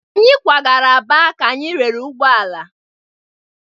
Anyị kwagara Aba ka anyị rere ụgbọ ala.